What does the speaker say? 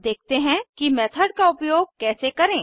देखते हैं कि मेथड का उपयोग कैसे करें